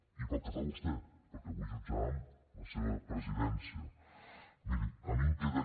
i pel que fa a vostè perquè avui jutjàvem la seva presidència miri a mi em queda